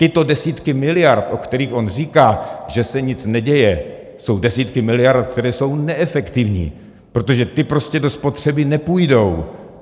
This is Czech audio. Tyto desítky miliard, o kterých on říká, že se nic neděje, jsou desítky miliard, které jsou neefektivní, protože ty prostě do spotřeby nepůjdou.